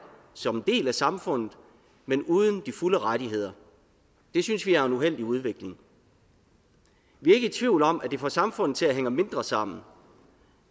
som en del af samfundet men uden de fulde rettigheder det synes vi er en uheldig udvikling vi er ikke i tvivl om at det får samfundet til at hænge mindre sammen